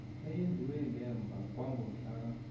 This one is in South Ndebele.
eyenziwe ngemva kwangomhlaka